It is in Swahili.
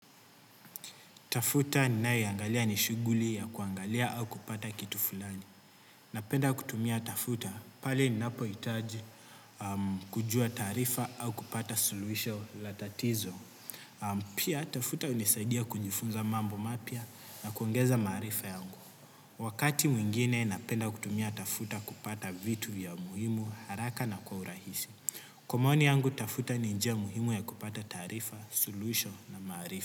Tafuta ninayoiangalia ni shuguli ya kuangalia au kupata kitu fulani. Napenda kutumia tafuta pale ninapohitaji kujua taarifa au kupata suluhisho la tatizo. Pia tafuta unisaidia kujifunza mambo mapya na kuongeza maarifa yangu. Wakati mwingine napenda kutumia tafuta kupata vitu vya muhimu haraka na kwa urahisi. Kwa maoni yangu tafuta ni njia muhimu ya kupata tarifa, soluhisho na maarifa.